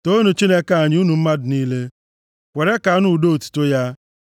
Toonu Chineke anyị, unu mmadụ niile, kwere ka a nụ ụda otuto ya;